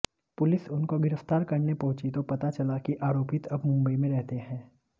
police उनको गिरफ्तार करने पहुुंची तो पता चला कि आरोपित अब मुंबई में रहते हैं